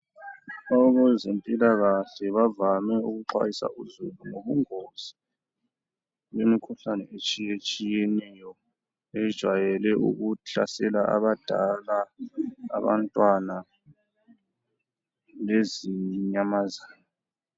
Abezempilakahle bavame ukuxwayisa uzulu ngobungozi bemkhuhlane etshiyetshiyeneyo ejwayele ukuhlasela abadala, abantwana lezinyamazana.